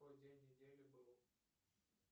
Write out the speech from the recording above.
какой день недели был